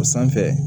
O sanfɛ